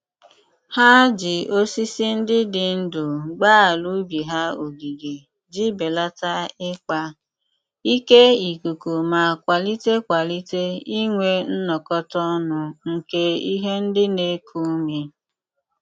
Ha ji osisi ndị dị ndụ gbaa ala ubi ha ogige ji belata ikpa ike ikuku ma kwalite kwalite inwe nnọkọta ọnụ nke ihe ndị na-eku ume.